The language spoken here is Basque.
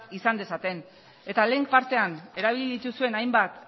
izan dezaten eta lehen partean erabili dituzuen hainbat